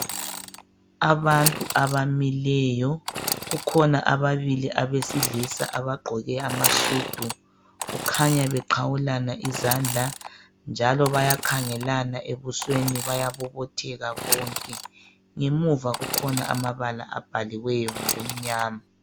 Abantu abamineyo kukhona ababilli abesilsa abaqoke amasudu kukhanya bexawulana izandla njalo bayakhangelana ebusweni bayabobotheka bonke ngemuva kukhona amabala abhaliweyo amnyama.